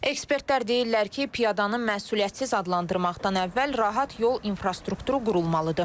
Ekspertlər deyirlər ki, piyadanın məsuliyyətsiz adlandırmaqdan əvvəl rahat yol infrastrukturu qurulmalıdır.